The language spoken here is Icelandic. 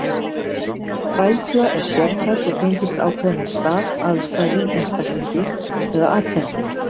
Hræðsla er sértæk og tengist ákveðnum stað, aðstæðum, einstaklingi eða atferli.